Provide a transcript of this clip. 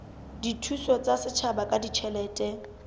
dithuso tsa setjhaba ka ditjhelete